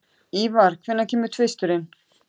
Ívar, hvenær kemur tvisturinn?